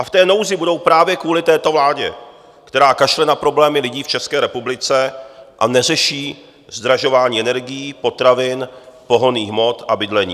A v té nouzi budou právě kvůli této vládě, která kašle na problémy lidí v České republice a neřeší zdražování energií, potravin, pohonných hmot a bydlení.